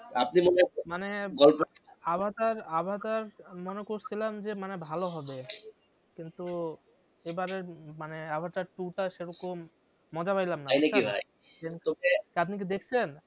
আপনি Avatar Avatar মনে করসিলাম যে মানে ভালো হবে কিন্তু এবারের মানে আভাটার টু টা সেরকম মজা পাইলাম না। তাই নাকি ভাই তা আপনি কি দেখছেন?